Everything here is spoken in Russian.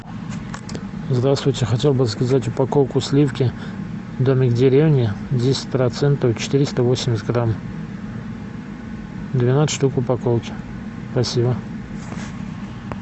здравствуйте хотел бы заказать упаковку сливки домик в деревне десять процентов четыреста восемьдесят грамм двенадцать штук в упаковке спасибо